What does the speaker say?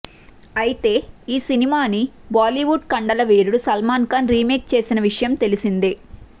అయితే ఈ సినిమాని బాలీవుడ్ కండలవీరుడు సల్మాన్ ఖాన్ రీమేక్ చేసిన విషయం తెలిసిందే